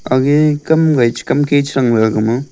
age kamke kamga che thang thega gama.